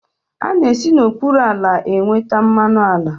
A na-esi n'okpuru ala enweta mmanụ ala.